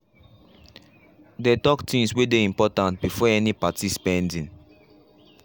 they talk things way dey important befor any party spending